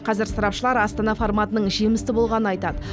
қазір сарапшылар астана форматының жемісті болғанын айтады